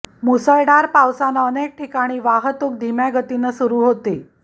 मुसळधार पावसानं अनेक ठिकाणी वाहतूक धीम्या गतीनं सुरु होती